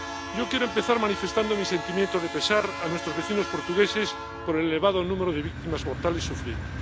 Yo quiero empezar manifestando mi sentimiento de pesar a nuestros vecinos portugueses por el elevado número de víctimas mortales sufrido.